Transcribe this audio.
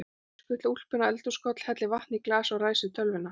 Ég skutla úlpunni á eldhúskoll, helli vatni í glas og ræsi tölvuna.